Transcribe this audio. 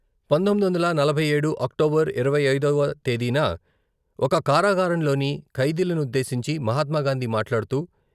పంతొమ్మిది వందల నలభై ఏడు అక్టోబర్ ఇరవై ఐదవ తేదీన ఒక కారాగారంలోని ఖైదీలనుద్దేశించి మహాత్మాగాంధీ మాట్లాడుతూ...